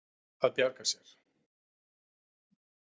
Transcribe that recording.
Að bjarga sér.